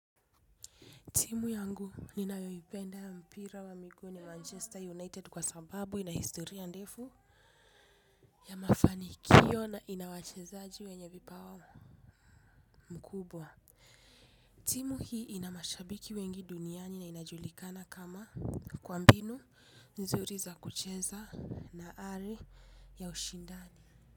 Timu yangu ninayo ipenda mpira wa miguu ni Manchester United kwa sababu ina historia ndefu ya mafanikio na ina wachezaji wenye vipawa mkubwa. Timu hii ina mashabiki wengi duniani na inajulikana kama kwa mbinu nzuri za kucheza na ari ya ushindani.